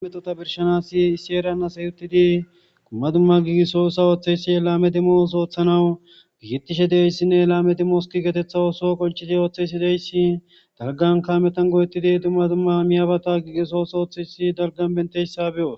imetota birshanasi issi eran asa yuttidi kumma dumma giigiso usa ooththeysi elaame dimoos ooththanawu gigitishe deyssinne laame dimoski getetha ooso qolchidi ooththeysi deyssi dalgan kaametan go7ettidi dumma dumma miyabata gigisoos ooththeysi dalgan benteyssa beyo